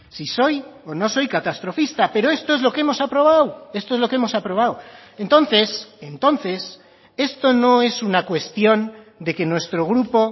si soy o no soy catastrofista pero esto es lo que hemos aprobado esto es lo que hemos aprobado entonces entonces esto no es una cuestión de que nuestro grupo